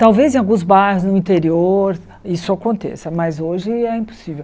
Talvez em alguns bairros no interior isso aconteça, mas hoje é impossível.